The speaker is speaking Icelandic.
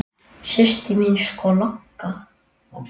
Systir mín er sko lögga